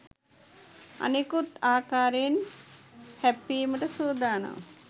අනෙකුත් ආකාරයෙන් හැප්පීමට සූදානම්